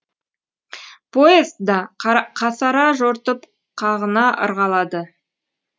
поезд да қасара жортып қағына ырғалады